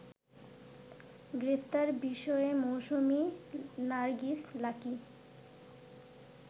গ্রেপ্তার বিষয়ে মৌসুমি নারগিস লাকী